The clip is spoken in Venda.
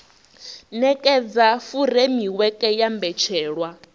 u nekedza furemiweke ya mbetshelwa